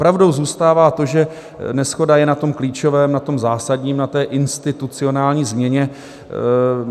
Pravdou zůstává to, že neshoda je na tom klíčovém, na tom zásadním, na té institucionální změně.